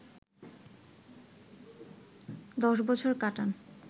১০ বছর কাটান